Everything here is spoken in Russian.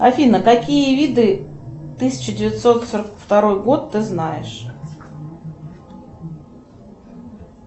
афина какие виды тысяча девятьсот сорок второй год ты знаешь